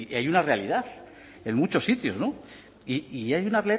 hay una realidad en muchos sitios y hay una